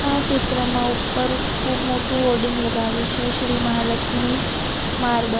આ ચિત્રમાં ઉપર ખૂબ મોટું હોર્ડિંગ લગાવ્યું છે શ્રી મહાલક્ષ્મી માર્બલ .